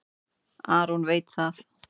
Aron veit það.